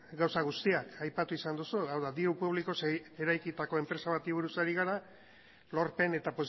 gauza guztiak aipatu izan duzu hau da diru publikoz eraikitako enpresa bati buruz ari gara lorpen eta